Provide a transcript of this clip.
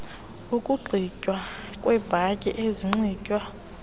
ukunxitywa kweebhatyi ezinxitywa